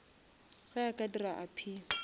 ge a ka dira appeal